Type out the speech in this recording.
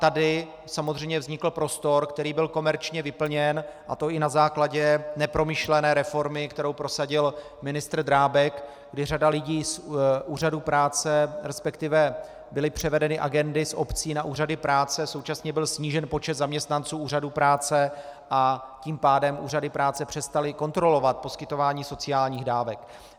Tady samozřejmě vznikl prostor, který byl komerčně vyplněn, a to i na základě nepromyšlené reformy, kterou prosadil ministr Drábek, kdy řada lidí z úřadů práce, respektive byly převedeny agendy z obcí na úřady práce, současně byl snížen počet zaměstnanců úřadů práce, a tím pádem úřady práce přestaly kontrolovat poskytování sociálních dávek.